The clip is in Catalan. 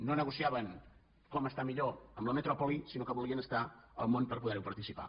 no negociaven com estar millor amb la metròpoli sinó que volien estar al món per poder hi participar